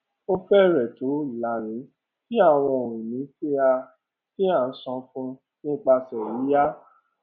ó fẹrẹẹ tó ìlààrin tí àwọn ohun-ìní tí a tí a san fún nípasẹ yíyá